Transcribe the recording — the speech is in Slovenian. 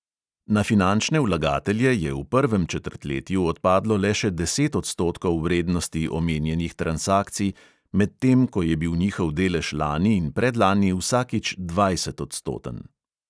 Na finančne vlagatelje je v prvem četrtletju odpadlo le še deset odstotkov vrednosti omenjenih transakcij, medtem ko je bil njihov delež lani in predlani vsakič dvajsetodstoten.